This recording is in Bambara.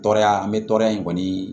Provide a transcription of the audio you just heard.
Tɔɔrɔya n bɛ tɔɔrɔya in kɔni